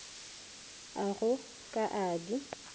a go ka a di